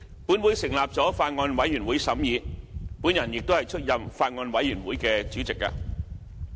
本會成立了法案委員會審議，我亦出任法案委員會主席。